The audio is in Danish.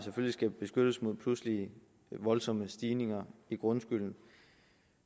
skal beskyttes mod pludselige og voldsomme stigninger i grundskylden